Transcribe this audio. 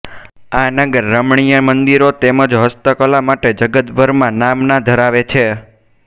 આ નગર રમણીય મંદિરો તેમ જ હસ્તકલા માટે જગતભરમાં નામના ધરાવે છે